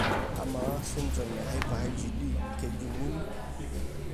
Amaa esindirom eHyper IgD kejung'uni?